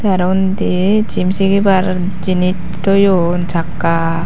te araw undi jim sigibar jinis toyon sakka.